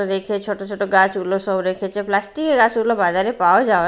Rake -এ ছোট ছোট গাছগুলো সব রেখেছে প্লাস্টিক -এর গাছগুলো বাজারে পাওয়া যায়।